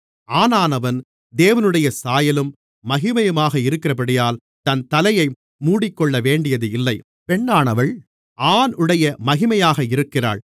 ஆணானவன் தேவனுடைய சாயலும் மகிமையுமாக இருக்கிறபடியால் தன் தலையை மூடிக்கொள்ளவேண்டியதில்லை பெண்ணானவள் ஆணுடைய மகிமையாக இருக்கிறாள்